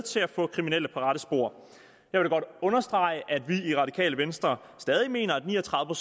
til at få kriminelle på rette spor jeg vil godt understrege at vi i radikale venstre stadig mener at ni og tredive